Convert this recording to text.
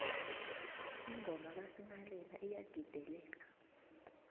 ingoma kasinghalela iyagideleka